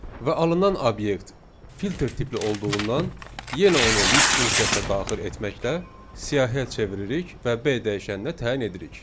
Və alınan obyekt filter tipli olduğundan yenə onu list funksiyasına daxil etməklə siyahıya çeviririk və B dəyişəninə təyin edirik.